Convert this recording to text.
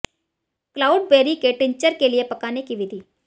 cloudberry के tincture के लिए पकाने की विधि